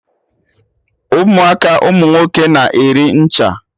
Ụmụaka ụmụ nwoke na-eri ncha!